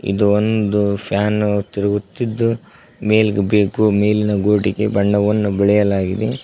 ಇದು ಒಂದು ಫ್ಯಾನು ತಿರುಗುತ್ತಿದ್ದು ಮೇಲ್ ಬೇಕು ಮೇಲಿನ ಗೂಡಿಗೆ ಬಣ್ಣವನ್ನು ಬಳೆಯಲಾಗಿದೆ.